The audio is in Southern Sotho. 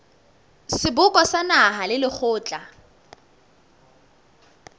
seboka sa naha le lekgotla